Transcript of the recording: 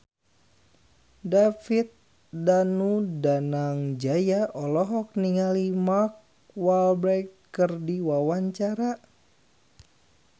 David Danu Danangjaya olohok ningali Mark Walberg keur diwawancara